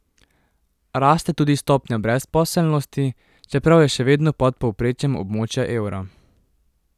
Raste tudi stopnja brezposelnosti, čeprav je še vedno pod povprečjem območja evra.